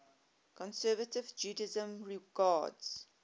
conservative judaism regards